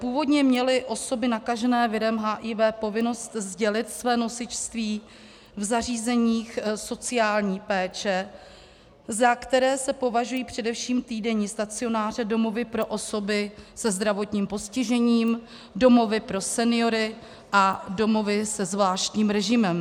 Původně měly osoby nakažené virem HIV povinnost sdělit své nosičství v zařízeních sociální péče, za která se považují především týdenní stacionáře, domovy pro osoby se zdravotním postižením, domovy pro seniory a domovy se zvláštním režimem.